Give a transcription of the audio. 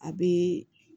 A bɛ